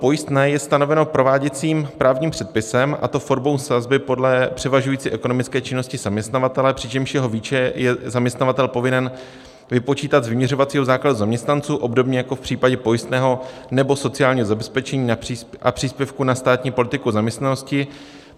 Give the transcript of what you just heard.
Pojistné je stanoveno prováděcím právním předpisem, a to formou sazby podle převažující ekonomické činnosti zaměstnavatele, přičemž jeho výši je zaměstnavatel povinen vypočítat z vyměřovacího základu zaměstnanců, obdobně jako v případě pojistného nebo sociálního zabezpečení a příspěvku na státní politiku zaměstnanosti.